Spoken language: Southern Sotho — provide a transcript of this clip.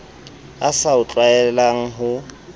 a sa o tlwaelang ho